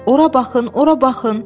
Ora baxın, ora baxın!